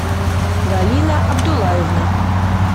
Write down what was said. галина абдуллаевна